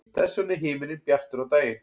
þess vegna er himinninn bjartur á daginn